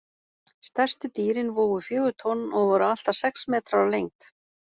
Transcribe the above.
Stærstu dýrin vógu fjögur tonn og voru allt að sex metrar á lengd.